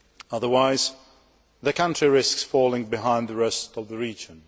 Otherwise, the country risks falling behind the rest of the region.